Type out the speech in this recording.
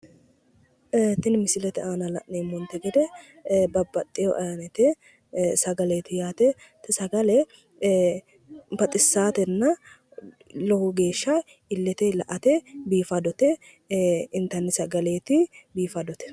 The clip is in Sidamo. Tini misilete aana la'neemmote gede babbaxxewo ayyinete sagaleeti yaate te sagale baxissatenna lowo geeshsha illete la'ate biifadote intanni sagaleeti biifadote.